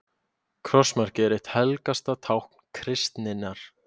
Krossmarkið er eitt helgasta tákn kristninnar.